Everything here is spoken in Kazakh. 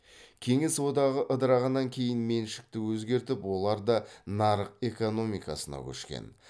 кеңес одағы ыдырағаннан кейін меншікті өзгертіп олар да нарық экономикасына көшкен